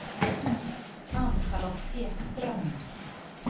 Ann-Charlotte Ekström